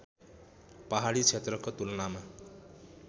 पहाडी क्षेत्रको तुलनामा